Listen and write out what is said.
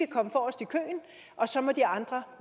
komme forrest i køen og så må de andre